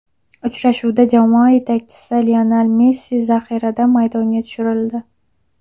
Uchrashuvda jamoa yetakchisi Lionel Messi zaxiradan maydonga tushirildi.